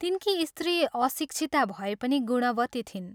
तिनकी स्त्री अशिक्षिता भए पनि गुणवती थिइन्।